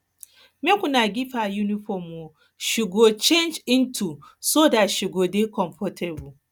make una give her uniform um she go um she go change into so dat she go dey um comfortable